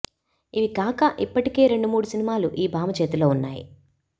ఇవి కాక ఇప్పటికే రెండు మూడు సినిమాలు ఈ భామ చేతిలో ఉన్నాయి